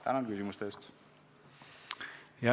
Tänan küsimuste eest!